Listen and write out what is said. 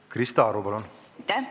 Krista Aru, palun!